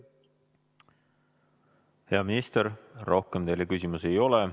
Hea minister, rohkem teile küsimusi ei ole.